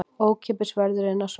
Ókeypis verður inn á svæðið